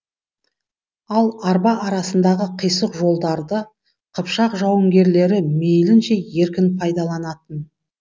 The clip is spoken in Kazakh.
ал арба арасындағы қисық жолдарды қыпшақ жауынгерлері мейлінше еркін пайдаланатын